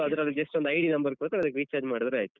So ಅದ್ರಲ್ಲಿ just ಒಂದು ID number ಕೊಡ್ತಾರೆ ಅದಕ್ಕೆ recharge ಮಾಡಿದ್ರಾಯ್ತು.